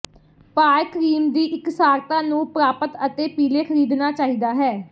ਭਾਰ ਕਰੀਮ ਦੀ ਇਕਸਾਰਤਾ ਨੂੰ ਪ੍ਰਾਪਤ ਅਤੇ ਪੀਲੇ ਖਰੀਦਣਾ ਚਾਹੀਦਾ ਹੈ